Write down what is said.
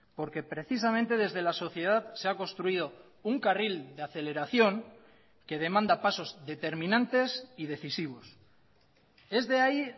porque precisamente desde la sociedad se ha construido un carril de aceleración que demanda pasos determinantes y decisivos es de ahí